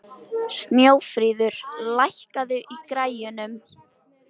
Snjófríður, lækkaðu í græjunum.